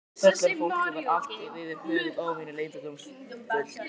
Fullorðna fólkið var allt yfir höfuð óvenju leyndardómsfullt.